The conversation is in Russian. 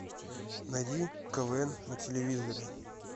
найди квн на телевизоре